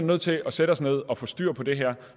nødt til at sætte os ned og få styr på det her